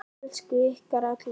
Elska ykkur allar.